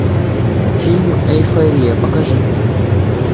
фильм эйфория покажи мне